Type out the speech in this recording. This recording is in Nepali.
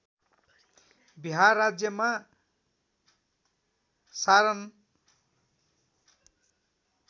बिहार राज्यमा सारण